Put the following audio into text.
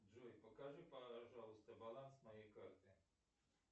джой покажи пожалуйста баланс моей карты